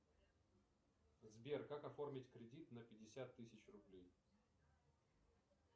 сбер как оформить кредит на пятьдесят тысяч рублей